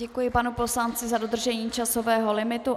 Děkuji panu poslanci za dodržení časového limitu.